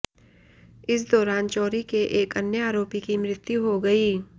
इस दौरान चोरी के एक अन्य आरोपी की मृत्यु हो गई